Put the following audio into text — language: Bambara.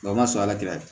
o man sɔn ala tɛ ka di